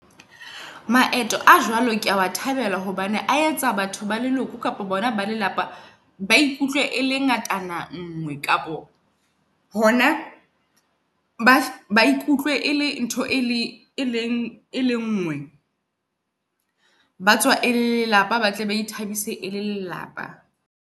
Maeto a jwalo kea oa thabela hobane a etsa batho ba leloko, kapa bona ba lelapa ba ikutlwe e le ngatana ngwe. Kapo hona ba ba ikutlwe e le ntho e le e lengwe batswa e le lelapa, ba tle ba ithabise e le lelapa.